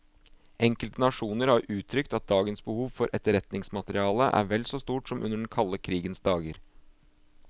Enkelte nasjoner har uttrykt at dagens behov for etterretningsmateriale er vel så stort som under den kalde krigens dager.